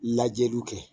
Lajɛliw kɛ